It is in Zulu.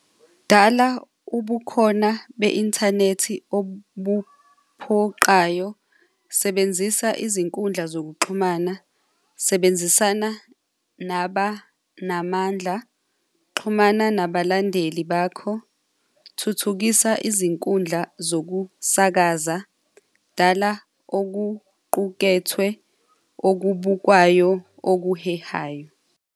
Dala ubukhona be-inthanethi obuphoqayo, sebenzisa izinkundla zokuxhumana, sebenzisana nabanamandla, xhumana nabalandeli bakho, thuthukisa izinkundla zokusakaza, dala okuqukethwe okubukwayo oluhehayo.